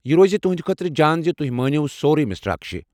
یہ روز تہٕنٛدِ خٲطرٕ جان زِ تُہۍ مٲنِو سورُے، مِسٹر اكشے ۔